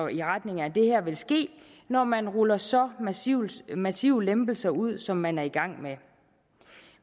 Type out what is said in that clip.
i retning af det her ville ske når man ruller så massive massive lempelser ud som man er i gang med